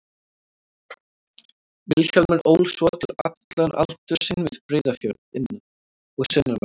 Vilhjálmur ól svo til allan aldur sinn við Breiðafjörð, innan- og sunnanverðan.